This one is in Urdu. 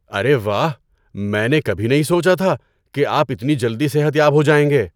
ارے واہ! میں نے کبھی نہیں سوچا تھا کہ آپ اتنی جلدی صحت یاب ہو جائیں گے۔